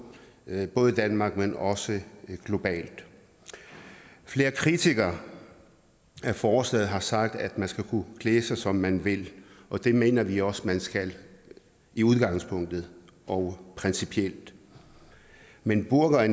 både i danmark men også globalt flere kritikere af forslaget har sagt at man skal kunne klæde sig som man vil og det mener vi også man skal i udgangspunktet og principielt men burka og